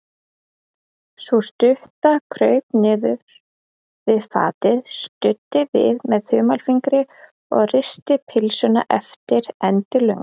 Sú stutta kraup niður við fatið, studdi við með þumalfingri og risti pylsuna eftir endilöngu.